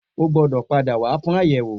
O gbọ́dọ̀ pàdá wà fún àyẹ̀wò